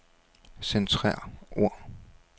Centrer ord.